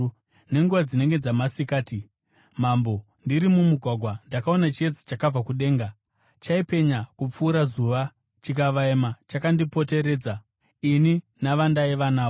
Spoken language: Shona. Nenguva dzinenge dzamasikati, mambo, ndiri mumugwagwa, ndakaona chiedza chakabva kudenga, chaipenya kupfuura zuva, chikavaima chakandipoteredza ini navandaiva navo.